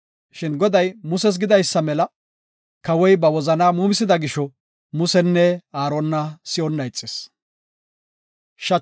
Shin Goday Muses gidaysa mela, kawoy ba wozana muumisida gisho, Musenne Aarona si7onna ixis.